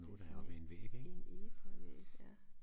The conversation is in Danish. Det sådan en en efeuvæg ja